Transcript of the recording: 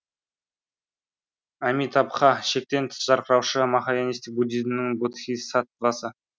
амитабха шектен тыс жарқыраушы махаянистік буддизмнің бодхисаттвасы